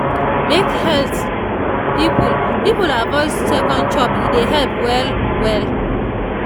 make health people people avoid second chop e dey help well-well.